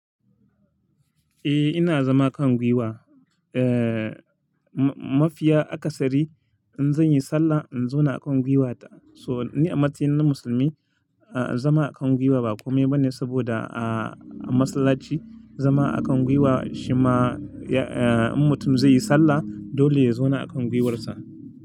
Eh ina zama a kan gwiwa. Eh, mafiya akasari in zan yi sallah in zauna a kan gwiwata. So ni a matsayina na musulmi, zama a kan gwiwa ba kome bane saboda a masallaci zama a kan gwiwa shima in mutum zai yi sallah dole ya zauna a kan gwiwarsa.